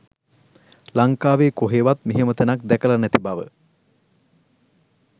ලංකාවේ කොහෙවත් මෙහෙම තැනක් දැකල නැති බව